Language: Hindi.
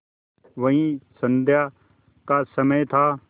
वही संध्या का समय था